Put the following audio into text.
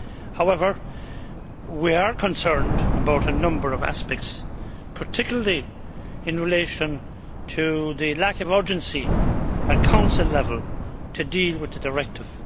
However, we are concerned about a number of aspects, particularly in relation to the lack of urgency at Council level to deal with the directive.